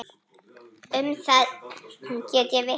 Um það get ég vitnað.